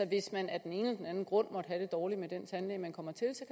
hvis man af den ene eller anden grund måtte have det dårligt med den tandlæge man kommer til